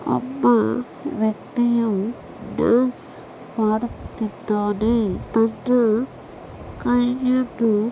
ಒಬ್ಬ ವ್ಯಕ್ತಿಯು ಡಾನ್ಸ್ ಮಾಡುತ್ತಿದ್ದಾನೆ. ತನ್ನ ಕೈಯನ್ನು--